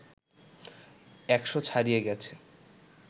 ১০০ ছাড়িয়ে গেছে